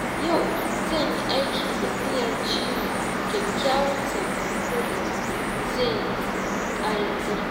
Yau zan yi aiki da niyyar cimma kyakkyawan sakamako da zai ƙayatar.